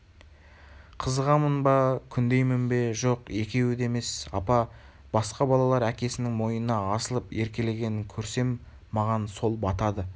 қызығамын ба күндеймін бе жоқ екеуі де емес апа басқа балалар әкесінің мойнына асылып еркелегенін көрсем маған сол батады